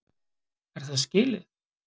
Er það skilið?!